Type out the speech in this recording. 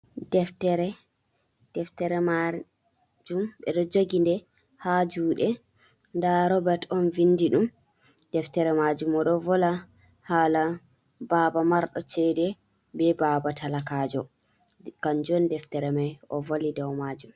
Deftere, deftere majum ɓeɗo joginɗe ha juɗe, nda robet on vindi ɗum, deftere majum oɗo vola hala baba marɗo cede, be baba talakajo, kanjum deftere mai o voli dow majum.